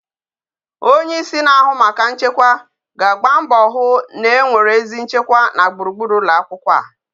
Onye isi ndi na ahu maka nchekwa ga agba mbo hu na enwere ezi nchekwa na gburugburu ụlọ akwụkwọ a